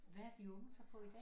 Hvad er de unge så på i dag